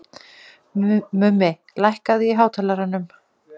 Mummi, lækkaðu í hátalaranum.